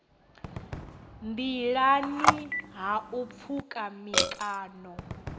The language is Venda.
nḓilani ha u pfuka mikano